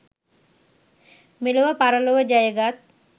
මෙලොව පරලොව ජයගත්